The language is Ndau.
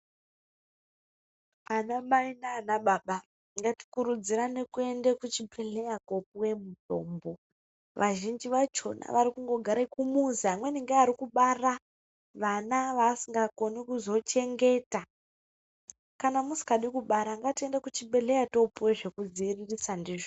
Anamai nana baba ngatikurudzirane kuende kuchibhedhlera kopuwe mutombo. Vazhinji vachona varikungogare kumuzi, vamweni ngeari kubara vana vaasingakoni kuzochengeta. Kana musingadi kubara ngatiende kuchibhadhlera topuwe zvekudziviririsa ndizvo.